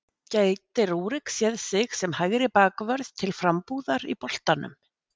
Gæti Rúrik séð sig sem hægri bakvörð til frambúðar í boltanum?